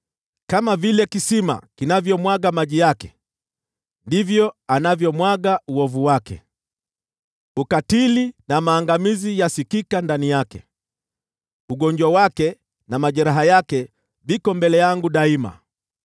Kama vile kisima kinavyomwaga maji yake, ndivyo anavyomwaga uovu wake. Ukatili na maangamizi yasikika ndani yake, ugonjwa wake na majeraha yake viko mbele yangu daima.